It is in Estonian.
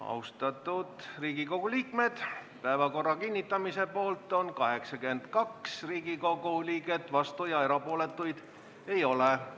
Hääletustulemused Austatud Riigikogu liikmed, päevakorra kinnitamise poolt on 82 Riigikogu liiget, vastuolijaid ja erapooletuid ei ole.